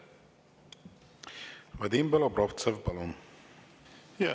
Vadim Belobrovtsev, palun!